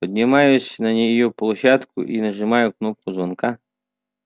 поднимаюсь на неё площадку и нажимаю кнопку звонка